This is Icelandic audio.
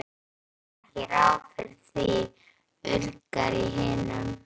Ég gerði heldur ekki ráð fyrir því, urgar í hinum.